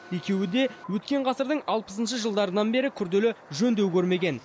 екеуі де өткен ғасырдың алпысыншы жылдарынан бері күрделі жөндеу көрмеген